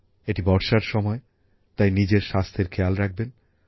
এটি বর্ষার সময় তাই নিজের স্বাস্থ্যের খেয়াল রাখবেন